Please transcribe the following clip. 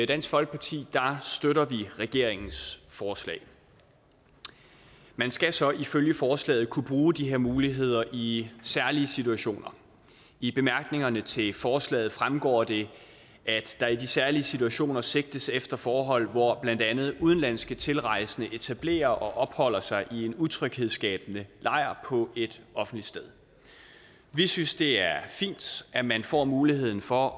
dansk folkeparti støtter vi regeringens forslag man skal så ifølge forslaget kunne bruge de her muligheder i særlige situationer i bemærkningerne til forslaget fremgår det at der i de særlige situationer sigtes efter forhold hvor blandt andet udenlandske tilrejsende etablerer og opholder sig i en utryghedsskabende lejr på et offentligt sted vi synes det er fint at man får muligheden for